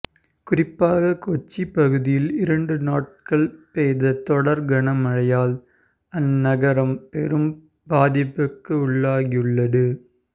குறிப்பாக கொச்சி பகுதியில் இரண்டு நாட்கள் பெய்த தொடர் கனமழையால் அந்நகரம் பெரும் பாதிப்புக்கு உள்ளாகியுள்ளடு